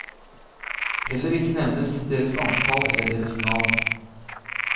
Heller ikke nevnes deres antall eller deres navn.